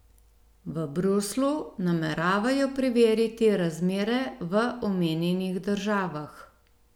V Bruslju nameravajo preveriti razmere v omenjenih državah.